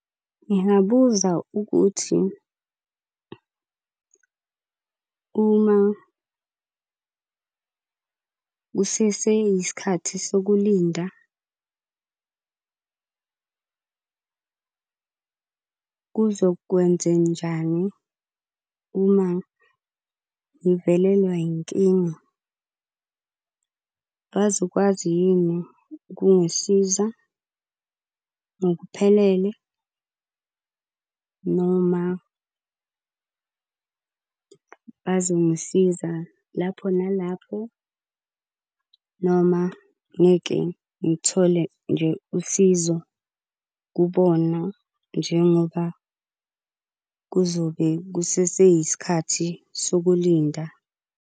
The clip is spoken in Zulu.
Ngingabuza ukuthi, uma kusese yisikhathi sokulinda kuzokwenzenjani uma ngivelelwa yinkinga. Bazokwazi yini ukungisiza ngokuphelele noma bazongisiza lapho nalapho noma ngeke ngithole nje usizo kubona njengoba kuzobe kusese yisikhathi sokulinda.